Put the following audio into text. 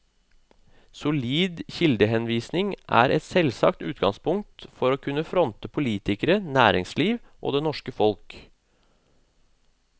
Solid kildehenvisning er et selvsagt utgangspunkt for å kunne fronte politikere, næringsliv og det norske folk.